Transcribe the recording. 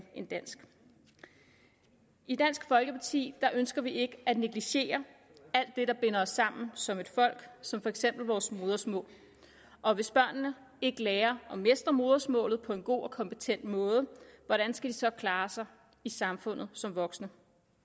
end dansk i dansk folkeparti ønsker vi ikke at negligere alt det der binder os sammen som et folk som for eksempel vores modersmål og hvis børnene ikke lærer at mestre modersmålet på en god og kompetent måde hvordan skal de så klare sig i samfundet som voksne